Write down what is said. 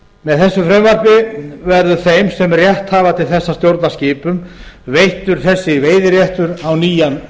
með þessu frumvarpi verður þeim sem rétt hafa til þess að stjórna skipum veittur þessi veiðiréttur á nýjan